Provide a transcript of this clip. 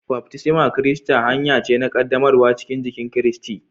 Baftisma na kirista hanya ce na qaddamarwa cikin jikin Kiristi.